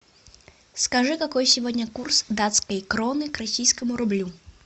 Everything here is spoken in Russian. скажи какой сегодня курс датской кроны к российскому рублю